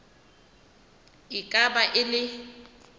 e ka ba e le